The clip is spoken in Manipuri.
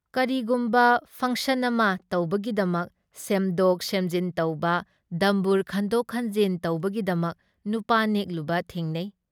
ꯀꯔꯤꯒꯨꯝꯕ ꯐꯪꯁꯟ ꯑꯃ ꯇꯧꯕꯒꯤꯗꯃꯛ ꯁꯦꯝꯗꯣꯛ ꯁꯦꯝꯖꯤꯟ ꯇꯧꯕ ꯗꯝꯕꯨꯔ ꯈꯟꯗꯣꯛ ꯈꯟꯖꯤꯟ ꯇꯧꯕꯒꯤꯗꯃꯛ ꯅꯨꯄꯥ ꯅꯦꯛꯂꯨꯕ ꯊꯦꯡꯅꯩ ꯫